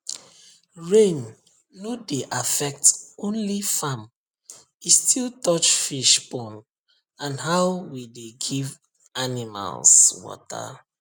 rain no dey affect only farm e still touch fish pond and how we dey give animals water